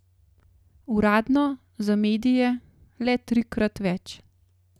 Uradno, za medije, le trikrat več.